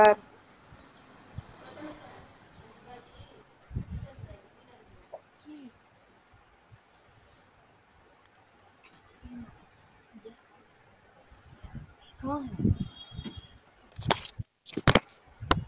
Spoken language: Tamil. ஹம்